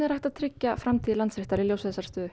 hægt að tryggja framtíð Landsréttar í ljósi þessarar stöðu